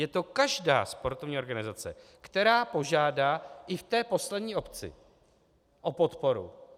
Je to každá sportovní organizace, která požádá i v té poslední obci o podporu.